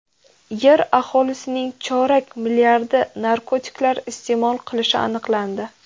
Yer aholisining chorak milliardi narkotiklar iste’mol qilishi aniqlandi.